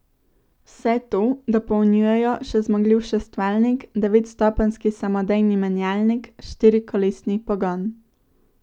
Vse to dopolnjujejo še zmogljiv šestvaljnik, devetstopenjski samodejni menjalnik, štirikolesni pogon ...